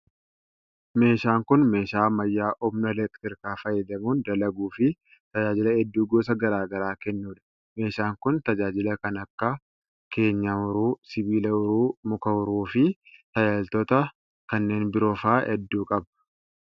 Meeshaan kun meeshaa ammayyaa humna elektirikaa fayyadamuun dalaguu fi tajaajila hedduu gosa garaa garaa kennuu dha. Meeshaan kun tajaajila kan akka:keenyaa uruu, sibiila uroo, muka uruu fi tajaajiloota kanneen biroo faa hedduu qaba.